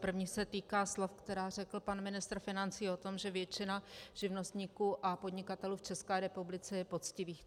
První se týká slov, která řekl pan ministr financí o tom, že většina živnostníků a podnikatelů v České republice je poctivých.